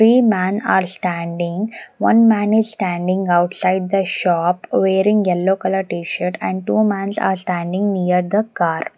Three man are standing one man is standing outside the shop wearing yellow colour t-shirt and two mans are standing near the car.